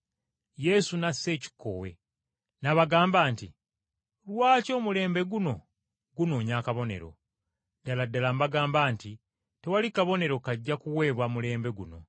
Yesu n’assa ekikkowe, n’abagamba nti, “Lwaki omulembe guno gunoonya akabonero? Ddala ddala mbagamba nti, Tewali kabonero kajja kuweebwa mulembe guno.”